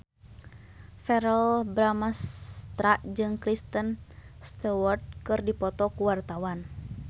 Verrell Bramastra jeung Kristen Stewart keur dipoto ku wartawan